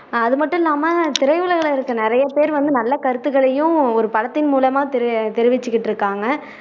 அது மட்டும் இல்லாம திரையுலகுல இருக்க நிறைய பேரு வந்து நல்ல கருத்துக்களையும் ஒரு படத்தின் மூலமா தெரி தெரிவிச்சுட்டு இருக்காங்க